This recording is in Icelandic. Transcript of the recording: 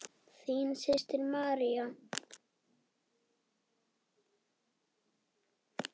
Þín systir, María.